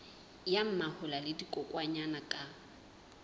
ya mahola le dikokwanyana ka